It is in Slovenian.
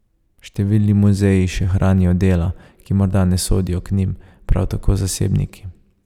Številni muzeji še hranijo dela, ki morda ne sodijo k njim, prav tako zasebniki.